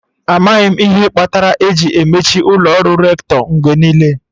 Amaghị m ihe kpatara eji emechi ụlọ ọrụ Rector mgbe niile.